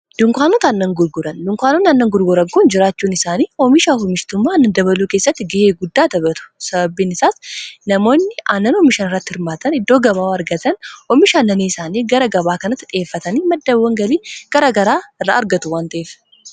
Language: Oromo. Dukaanonni aannan gurguran jiraachuun isaanii, oomishaa fi oomishitummaa aannanii dabaluu keessatti gahee guddaa taphatu. Sababiin isaas, namoonni oomisha aannanii irratti hirmaatan iddoo gabaa waan argataniif, oomisha isaanii gara dukaana kanaatti dhiheeffatanii madda galii garaa garaa irraa argatu.